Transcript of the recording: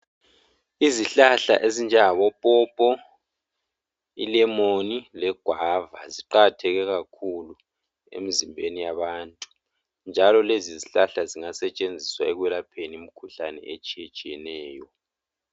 Izihlahla ezinjengabopopo, ilemoni legwava ziqakatheke kakhulu emzimbeni yabantu njalo lezizihlahla zingasetshenziswa ekwelapheni imkhuhlane etshetshiyeneyo.